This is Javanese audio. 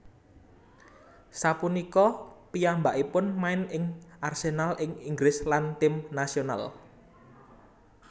Sapunika piyambakipun main ing Arsenal ing Inggris lan tim nasional